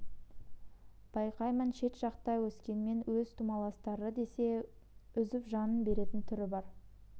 байқаймын шет жақта өскенмен өз тумаластары десе үзіп жанын беретін түрі бар